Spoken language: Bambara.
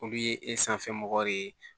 Olu ye e sanfɛ mɔgɔw de ye